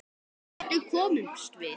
En hvernig komumst við?